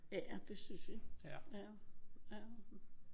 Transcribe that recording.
Ja. Det synes vi. Ja